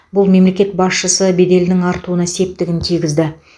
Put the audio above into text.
бұл мемлекет басшысы беделінің артуына септігін тигізді